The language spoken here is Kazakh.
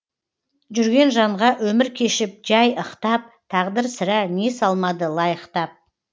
жүрген жанға өмір кешіп жай ықтап тағдыр сірә не салмады лайықтап